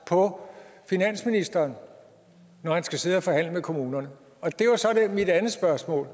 på finansministeren når han skal sidde og forhandle med kommunerne mit andet spørgsmål